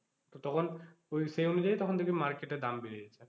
তো তখন ওই same জিনিস তখন দেখবি market এ দাম বেড়ে গেছে।